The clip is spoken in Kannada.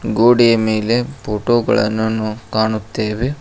ಗೋಡೆಯ ಮೇಲೆ ಫೋಟೋ ಗಳನ್ನು ಕಾಣುತ್ತೇವೆ.